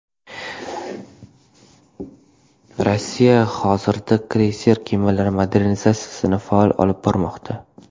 Rossiya hozirda kreyser kemalari modernizatsiyasini faol olib bormoqda.